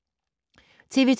TV 2